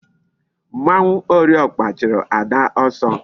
Mmanwu ori okpa churu Ada oso